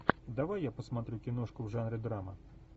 давай я посмотрю киношку в жанре драма